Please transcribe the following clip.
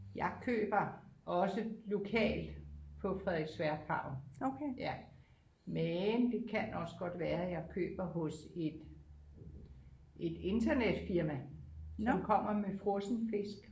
Jeg køber også lokalt på Frederiksværk havn ja men det kan også godt være jeg køber hos et et internetfirma som kommer med frossen fisk